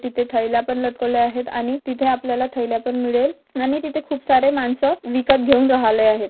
तिथे थैले पण लटकवलेले आहेत आणि तिथे आपल्याला थैला पन मिळेल अणि तिथे खूप सारे माणसं विकत घेऊन राहिले आहेत.